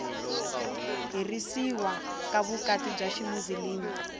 herisiwa ka vukati bya ximuzilimi